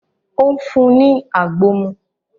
Ó ń fún un ní àgbo mú